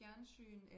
Fjernsyn eller